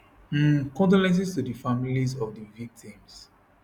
um condolences to di families of di victims